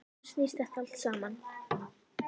Um hvað snýst þetta allt saman?